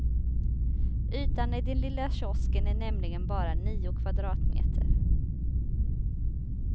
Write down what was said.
Ytan i den lilla kiosken är nämligen bara nio kvadratmeter.